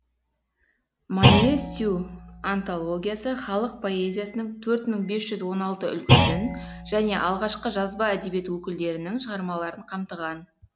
манъесю антологиясы халық поэзиясының төрт мың бес жүз он алты үлгісін және алғашқы жазба әдебиет өкілдерінің шығармаларын қамтыған